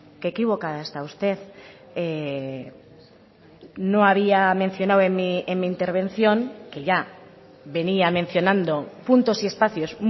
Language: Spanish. qué equivocada está usted no había mencionado en mi intervención que ya venía mencionando puntos y espacios